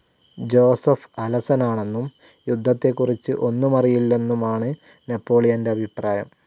Joseph അലസനാണെന്നും യുദ്ധത്തെക്കുറിച്ച് ഒന്നുമറിയില്ലെന്നുമാണ് നെപോളിയന്റെ അഭിപ്രായം.